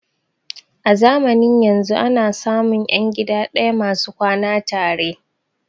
A zamanin yanzun ana samun ƴan gida ɗaya masu kwana tare